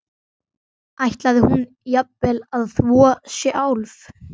Ætlaði hún jafnvel að þvo sjálf?